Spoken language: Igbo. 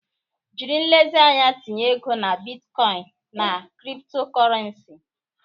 Jiri nlezianya tinye ego na bitcoin na cryptocurrency.